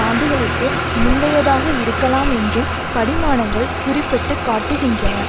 ஆண்டுகளுக்கு முந்தையதாக இருக்கலாம் என்றும் படிமானங்கள் குறிப்பிட்டு காட்டுகின்றன